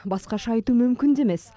басқаша айту мүмкін де емес